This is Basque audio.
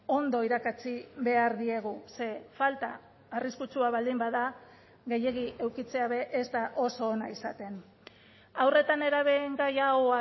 ondo irakatsi behar diegu ze falta arriskutsua baldin bada gehiegi edukitzea be ez da oso ona izaten haur eta nerabeen gai hau